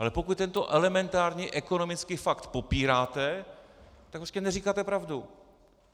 Ale pokud tento elementární ekonomický fakt popíráte, tak prostě neříkáte pravdu.